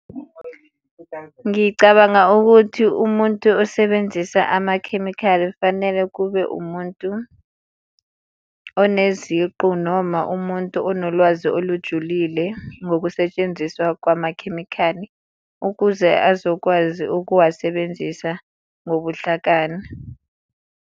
Ngicabanga ukuthi umuntu osebenzisa amakhemikhali fanele kube umuntu oneziqu noma umuntu onolwazi olujulile ngokusetshenziswa kwamakhemikhali ukuze azokwazi ukuwasebenzisa ngobuhlakani.